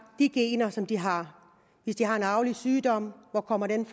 de gener som de har hvis de har en arvelig sygdom hvor kommer den